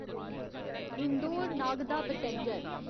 Indore Nagda passenger